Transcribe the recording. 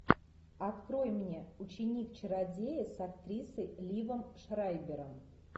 открой мне ученик чародея с актрисой ливом шрайбером